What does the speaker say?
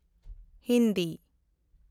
Hindi